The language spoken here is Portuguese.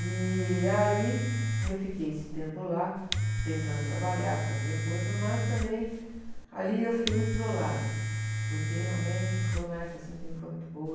E aí eu fiquei esse tempo lá, tentando trabalhar, fazia coisa, mas também ali eu fiquei muito isolada, porque realmente foi uma época assim que não foi muito boa.